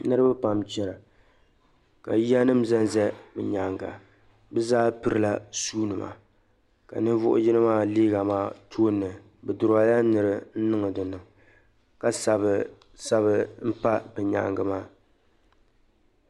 Niriba pam chana ka yiya zanza bɛ nyaaŋga. Bɛ zaa pirila shuunima ka ninvuɣ' yino maa liiga maa tooni bɛ duraunyila nira n-niŋ di ni ka sabisabi m-pa di nyaaŋga maa.